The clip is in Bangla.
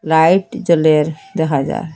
লাইট জ্বলের দেখা যার ।